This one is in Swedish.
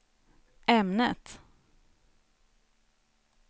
ämnet